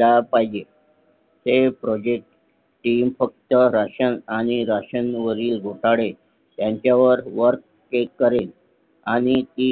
ला पाहिजे ते ProjectTeam फक्त राशन आणि राशन वरील घोटाळे ह्यांच्यावर Working करेल आणि ती